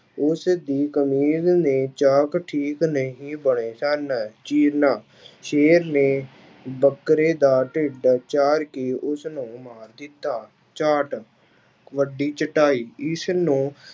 ਉਸ ਦੀ ਨੇ ਚਾਕ ਠੀਕ ਨਹੀਂ ਸਨ, ਚੀਰਨਾ ਸੇਰ ਨੇ ਬੱਕਰੇ ਦਾ ਢਿੱਡ ਚਾਰ ਕੇ ਉਸਨੂੰ ਮਾਰ ਦਿੱਤਾ, ਚਾਰਟ, ਵੱਡੀ ਚਟਾਈ ਇਸਨੂੰ